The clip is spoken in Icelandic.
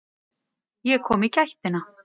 Ég kom í gættina.